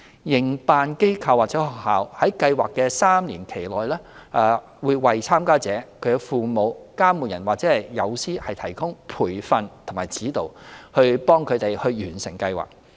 營辦機構/學校在計劃的3年期內為參加者、其父母/監護人，以及友師提供培訓和指導，以助他們完成計劃。